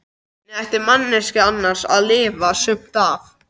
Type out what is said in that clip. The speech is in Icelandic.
Hvernig ætti manneskjan annars að lifa sumt af?